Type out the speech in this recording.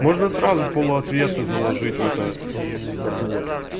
можно сразу полу ответы заложить в это мм не знаю